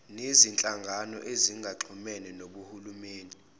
nezinhlangano ezingaxhumene nohulumeni